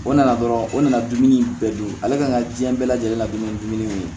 O nana dɔrɔn o nana dumuni bɛɛ dun ale ka kan ka diɲɛ bɛɛ lajɛlen la dun ni dumuni ye